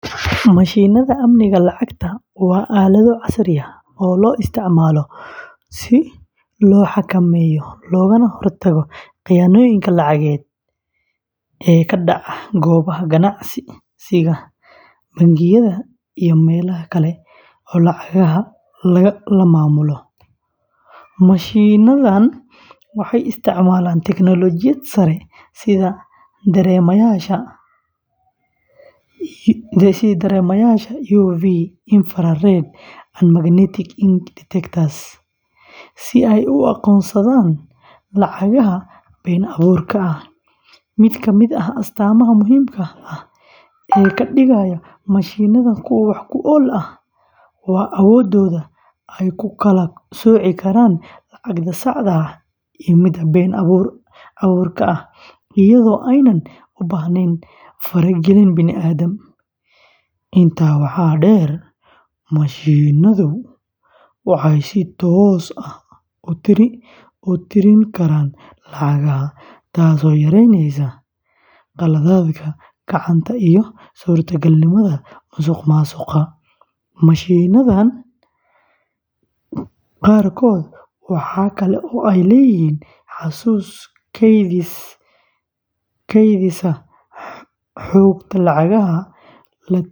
Mashiinnada amniga lacagta waa aalado casri ah oo loo isticmaalo si loo xakameeyo loogana hortago khiyaanooyinka lacageed ee ka dhaca goobaha ganacsiga, bangiyada, iyo meelaha kale ee lacagaha la maamulo. Mashiinnadan waxay isticmaalaan teknoolojiyad sare sida dareemayaasha UV, infrared, and magnetic ink detectors si ay u aqoonsadaan lacagaha been abuurka ah. Mid ka mid ah astaamaha muhiimka ah ee ka dhigaya mashiinnadan kuwo wax ku ool ah waa awooddooda ay ku kala sooci karaan lacagta saxda ah iyo midda been abuurka ah iyadoo aanay u baahnayn faragelin bini’aadam. Intaa waxaa dheer, mashiinnadu waxay si toos ah u tiri karaan lacagaha, taasoo yareyneysa khaladaadka gacanta iyo suurtagalnimada musuqmaasuqa. Mashiinnada qaarkood waxa kale oo ay leeyihiin xasuus kaydisa xogta lacagaha la tiriyay.